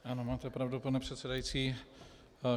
Ano, máte pravdu, pane předsedající.